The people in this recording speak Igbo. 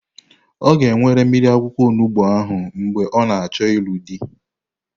Ọ ga-ewere mmiri akwụkwọ onugbo ahụ mgbe ọ na-achọ ịlụ di.